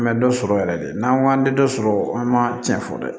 An bɛ dɔ sɔrɔ yɛrɛ de n'an k'an tɛ dɔ sɔrɔ an ma tiɲɛ fɔ dɛ